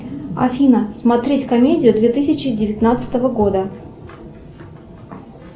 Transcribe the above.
афина смотреть комедию две тысячи девятнадцатого года